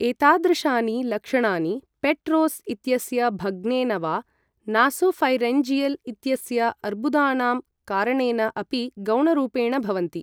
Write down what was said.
एतादृशानि लक्षणानि पेट्रोस् इत्यस्य भग्नेन वा नासोफ़ैरिन्जियल् इत्यस्य अर्बुदानां कारणेन अपि गौणरूपेण भवन्ति।